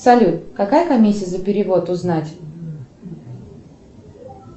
салют какая комиссия за перевод узнать